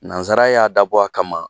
Nansara y'a dabɔ a kama